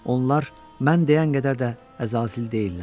Onlar mən deyən qədər də əzazil deyillər.